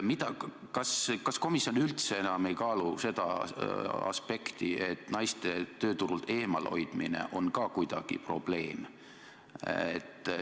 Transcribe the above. Kas komisjon üldse enam ei kaalu seda aspekti, et naiste tööturult eemal hoidmine on ka kuidagi probleem?